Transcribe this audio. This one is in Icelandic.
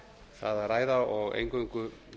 það að ræða og eingöngu